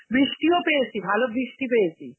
বৃষ্টিও পেয়েছি, ভালো বৃষ্টি পেয়েছি.